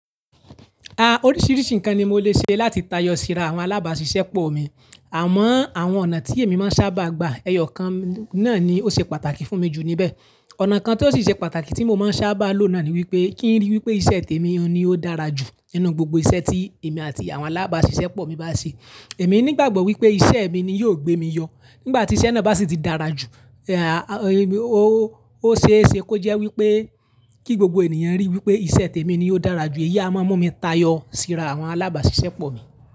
Ah, oríṣiríṣi nǹkan ni mo lè ṣe láti tayọ síra àwọn alábàáṣiṣẹ́ pọ̀ mi. Àmọ́ àwọn ọ̀nà tí èmi máa ń sábà gba ẹyọ kan náà ni ó ṣe pàtàkì fún mi jù níbẹ̀. Ọ̀nà kan tó sì ṣe pàtàkì tí mo máa ń sábà lò náà ni wípé kí ń ríi wípé iṣẹ́ tèmi ni ó dára jù nínú gbogbo iṣẹ́ tí èmi àti àwọn alábàáṣiṣẹ́ pọ̀ mi bá ṣe. Èmi ní ìgbàgbọ́ wípé iṣẹ́ mi ni yóò gbé mi yọ. Nígbà tí iṣẹ́ náà bá sì ti dára jù, ah, ó, ó ṣe é ṣe kó jẹ́ wípé kí gbogbo ènìyàn ríi wípé iṣẹ́ tèmi ni ó dára jù, èyí a máa mú mi tayọ síra àwọn alábàáṣiṣẹ́ pọ̀ mi.